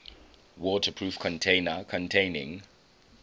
waterproof container containing